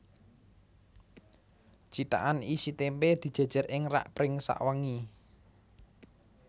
Cithakan isi témpé dijèjèr ing rak pring sawengi